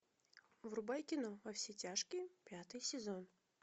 врубай кино во все тяжкие пятый сезон